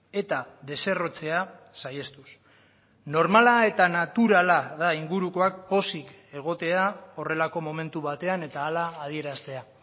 eta deserrotzea saihestuz normala eta naturala da ingurukoak pozik egotea horrelako momentu batean eta hala adieraztea